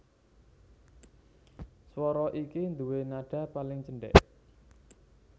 Swara iki nduwé nadha paling cendhèk